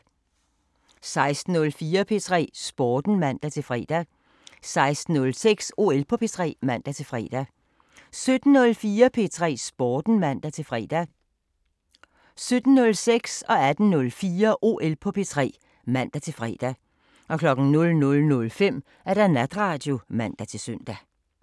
16:04: P3 Sporten (man-fre) 16:06: OL på P3 (man-fre) 17:04: P3 Sporten (man-fre) 17:06: OL på P3 (man-fre) 18:04: OL på P3 (man-fre) 00:05: Natradio (man-søn)